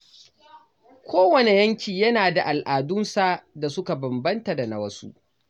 Kowane yanki yana da al’adunsa da suka bambanta da na wasu.